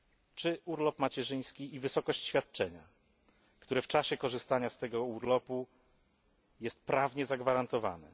Czy urlop macierzyński i wysokość świadczenia w czasie korzystania z tego urlopu jest prawnie zagwarantowana?